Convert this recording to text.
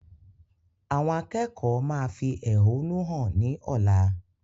Àwọn akẹ́kọ̀ọ́ máa fi ẹhónú hàn ni ọ̀la.